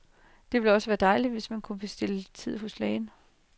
Det ville også være dejligt, hvis man kunne bestille tid hos lægen.